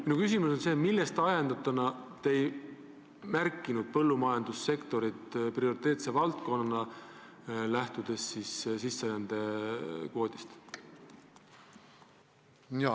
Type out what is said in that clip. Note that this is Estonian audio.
Minu küsimus on: millest ajendatuna te ei arvanud põllumajandussektorit prioriteetsete valdkondade hulka, kui sisserändekvoote arutasite?